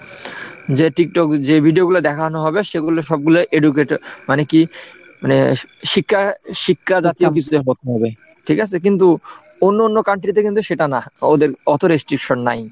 যে TikTokযে video গুলো দেখানো হবে সেগুলো সবগুলো educated মানে কি মানে শিক্ষা শিক্ষা জাতীয় কিছুতে হতে হবে ঠিক আছে? কিন্তু অন্য অন্য country তে কিন্তু সেটা না, ওদের অত restriction নাই।